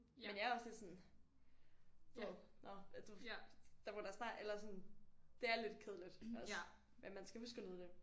Men jeg er også lidt sådan du ved nåh der der må da snart eller sådan det er lidt kedeligt også men man skal huske at nyde det